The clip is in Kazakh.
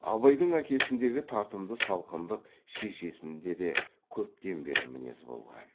абайдың әкесіндегі тартымды салқындық шешесінде де көптен бері мінез болған